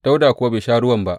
Dawuda kuwa bai sha ruwan ba.